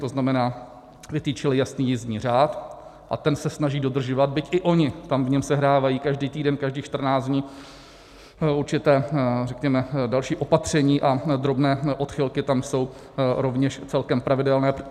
To znamená, vytyčili jasný jízdní řád a ten se snaží dodržovat, byť i oni tam v něm sehrávají každý týden, každých 14 dní, určitá, řekněme, další opatření a drobné odchylky tam jsou rovněž celkem pravidelné.